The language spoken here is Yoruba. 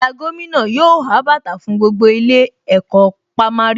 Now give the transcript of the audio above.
Àyà gómìnà yóò há bàtà fún gbogbo ilé ẹ̀kọ́ pámárì